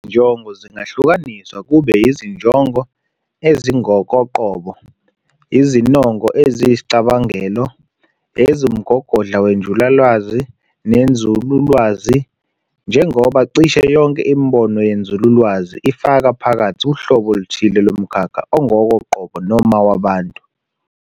Izinjongo zingahlukaniswa kube izinjongo ezingokoqobo, izinongo eziyisicabangelo, eziwumgogodla wenjulalwazi nenzululwazi, njengoba cisho yonke imibono yenzululwazi ifaka phakathi uhlobo oluthile lomkhakha ongokoqobo noma wabantu.